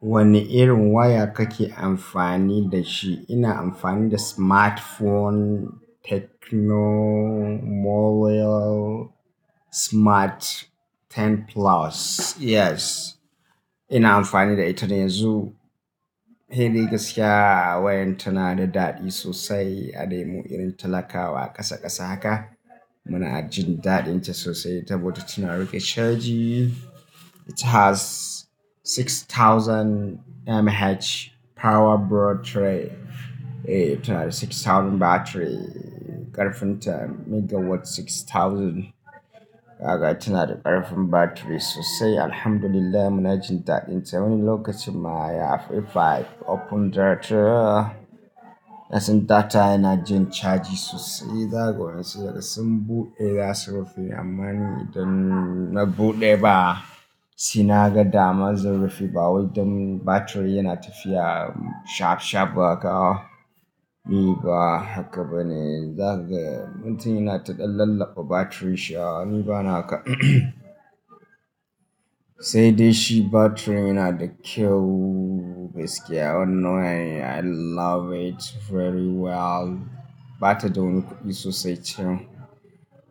Wane irin waya kake amfani da shi? Ina amfani da smartphone Tecno Mobile Smart Ten Plus, yes. Ina amfani da ita ne yanzu. Sai dai gaskiya wayar tana da daɗi sosai. A dai mu irin talakawa ƙasa ƙasa haka, muna jin daɗin ta sosai. Tabota tana riƙe caji. It has six thousand mAh power broad tray. Eh, tana da six thousand battery ƙarfin ta megawatt six thousand. Haka tana da ƙarfin battery sosai. Alhamdulillah muna jin daɗin ta. Wani lokacin ma ya fi five open data. Idan sun data yana jin caji sosai. Zaku san daga sun buɗe, za su rufe. Amma idan na buɗe ba, sai naga dama zan rufe ba wai don battery yana tafiya shaf shaf ba haka. Ni ba haka bane, zagaya mintuna yana taɗan lalba battery shi. Ni ba naka. Sai dai shi battery yana da kyau gaskiya wannan waya. I love it very well. Ba ta da wani kuɗi sosai cen.